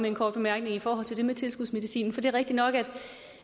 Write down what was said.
en kort bemærkning i forhold til det med tilskudsmedicinen for det er rigtigt nok